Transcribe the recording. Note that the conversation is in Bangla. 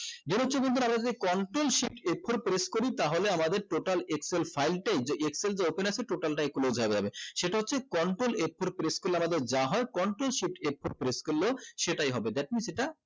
যে হচ্ছে বন্ধুরা control shift f four press করি তাহলে আমাদের total excel file টাই যে excel যে open আছে total টাই close হবে আবার সেটা হচ্ছে control f four press করলে আমাদের যা হয় control shift f foue press করলেও সেটাই হবে that means এটা